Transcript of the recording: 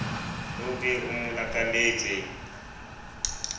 o be o mo lakaletse